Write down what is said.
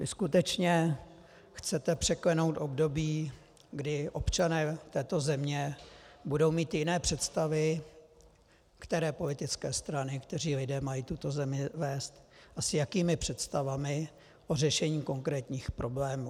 Vy skutečně chcete překlenout období, kdy občané této země budou mít jiné představy, které politické strany, kteří lidé mají tuto zemi vést a s jakými představami o řešení konkrétních problémů.